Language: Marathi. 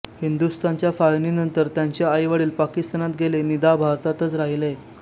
हिंदुस्थानच्या फाळणीनंतर त्यांचे आईवडील पाकिस्तानात गेले निदा भारतात्च राहिले